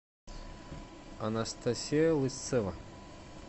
анастасия лысцева